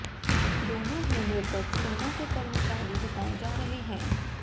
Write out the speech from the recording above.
दोनों ही मृतक सेना के कर्मचारी बताए जा रहे हैं